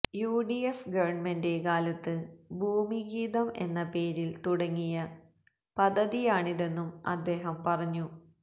UDF government കാലത്ത് ഭൂമിഗീതം എന്ന പേരില് തുടങ്ങിയ പദ്ധതിയാണിതെന്നും അദ്ദേഹം പറഞ്ഞു